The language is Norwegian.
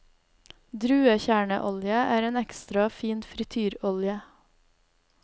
Druekjerneolje er en ekstra fin frityrolje.